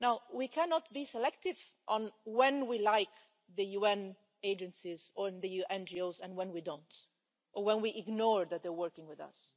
We cannot be selective on when we like the UN agencies or the NGOs and when we don't, or when we ignore that they're working with us.